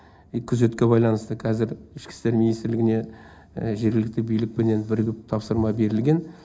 күзетке байланысты қазір ішкі істер министрлігіне жергілікті билікпенен бірігіп тапсырма берілген